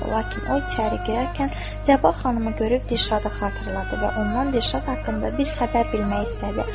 Lakin o içəri girərkən Sabah xanımı görüb Dirşadı xatırladı və ondan Dirşad haqqında bir xəbər bilmək istədi.